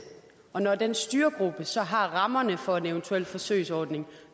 og når den styregruppe så har rammerne for en eventuel forsøgsordning